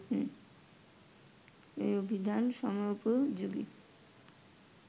এ অভিধান সময়োপযোগী